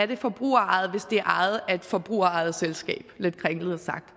det er forbrugerejet hvis det er ejet af et forbrugerejet selskab det lidt kringlet sagt